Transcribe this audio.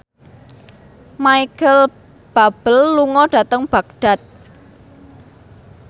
Micheal Bubble lunga dhateng Baghdad